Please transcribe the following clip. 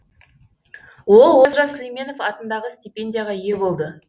ол олжас сүлейменов атындағы стипендияға ие болды